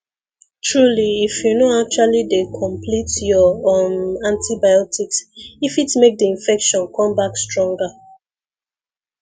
truly if you no actually dey complete your um antibiotics e fit make the infection come back stronger